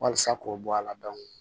Walasa k'o bɔ a la